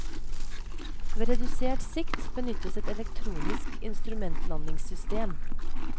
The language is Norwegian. Ved redusert sikt benyttes et elektronisk instrumentlandingssystem.